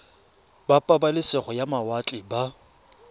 ba pabalesego ya mawatle ba